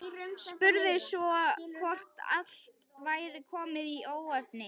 Spurði svo hvort allt væri komið í óefni.